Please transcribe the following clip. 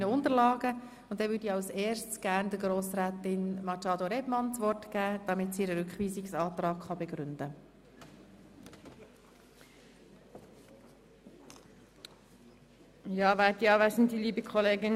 Als erstes gebe ich Grossrätin Machado das Wort, damit sie ihren Rückweisungsantrag begründen kann.